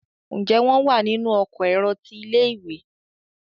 Njé wón wá nínú Ọkọ̀ èrò tí ilé-ìwé?